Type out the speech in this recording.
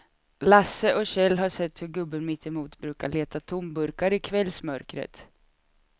Lasse och Kjell har sett hur gubben mittemot brukar leta tomburkar i kvällsmörkret.